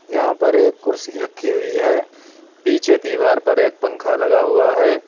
यहां पर एक कुर्सी रखी हुई है पीछे दीवार पर एक पंख लगा हुआ है।